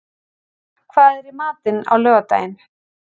Frán, hvað er í matinn á laugardaginn?